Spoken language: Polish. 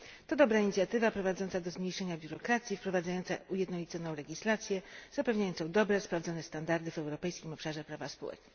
To dobra inicjatywa prowadząca do zmniejszenia biurokracji, wprowadzająca ujednoliconą legislację zapewniającą dobre sprawdzone standardy w europejskim obszarze prawa spółek.